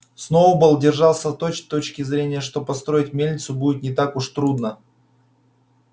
сноуболл держался той точки зрения что построить мельницу будет не так уж трудно